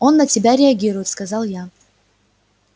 он на тебя реагирует сказал я